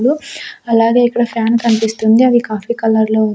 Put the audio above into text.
అలాగే ఇక్కడ ఫ్యాన్ కన్పిస్తుంది అది కాఫీ కలర్ లో --